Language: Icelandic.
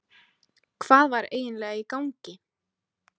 Hvað var eiginlega í gangi?